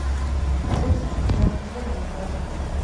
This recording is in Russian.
средство для мытья унитаза